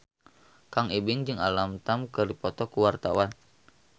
Kang Ibing jeung Alam Tam keur dipoto ku wartawan